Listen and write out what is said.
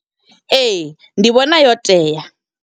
Ee, ndi vhona yo tea.